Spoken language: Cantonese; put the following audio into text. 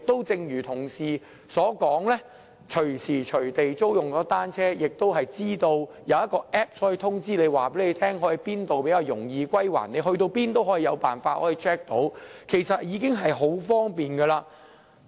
正如同事所說，現在可以隨時隨地租用單車，更有一個 App 可以通知租車者往哪裏歸還比較容易，不論往哪裏也可以查看，這其實已很方便。